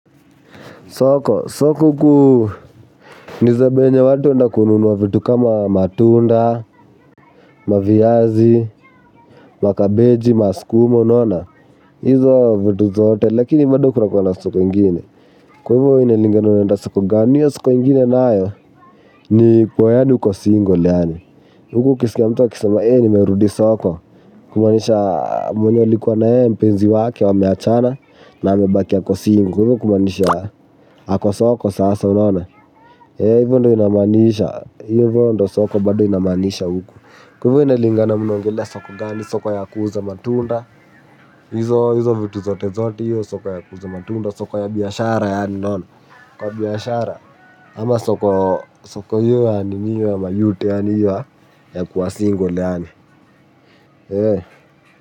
Soko, soko huku ni zabe yenye watu huenda kununuwa vitu kama matunda, maviazi, makabeji, maskuma, unaona. hizo vitu zote, lakini bado kuna kuwa na soko ingine. Kwa hivyo inalingana unaenda soko, gani hio soko ingine nayo, ni ukue yaani uko single yaani. Huku ukiskia mtu akisema, eeh nimerudi soko, kumaanisha mwenye alikuwa na yeye mpenzi wake wame achana, na amebaki ako single. Kwa hivyo kumaanisha ako soko sasa, unaona. Eeh hivyo ndio inamanisha, hivyo ndio soko bado inamaanisha huku. Kwa hivyo inalingana mnaongelea soko gani, soko ya kuuza matunda hizo vitu zote zote hio soko ya kuuza matunda soko ya biashara yaani unaona soko ya biashara ama soko ya soko hio ya nini hio ya mayoute yaani hio ya kuwa single yaani eeh.